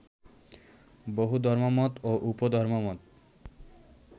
বহু ধর্মমত ও উপধর্মমত